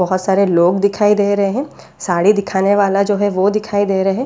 बोहोत सारे लोग दिखाई दे रहे हैं साड़ी दिखाने वाला जो है वो दिखाई दे रहे हैं।